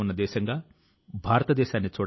తప్పక మెచ్చుకోవాలి